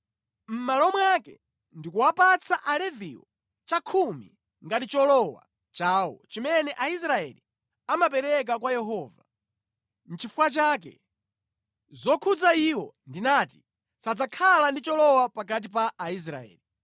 Mʼmalo mwake, ndikuwapatsa Aleviwo chakhumi ngati cholowa chawo chimene Aisraeli amapereka kwa Yehova. Nʼchifukwa chake zokhudza iwo ndinati: ‘Sadzakhala ndi cholowa pakati pa Aisraeli.’ ”